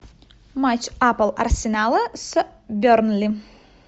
матч апл арсенала с бернли